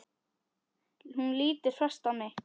Hún lítur fast á mig.